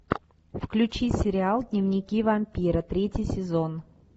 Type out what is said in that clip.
включи сериал дневники вампира третий сезон